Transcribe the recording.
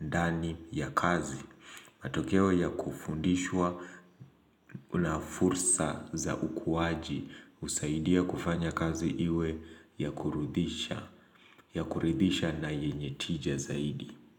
ndani ya kazi matokeo ya kufundishwa una fursa za ukuaji husaidia kufanya kazi iwe ya kuridhisha na yenye tija zaidi.